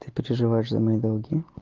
ты переживаешь за мои долги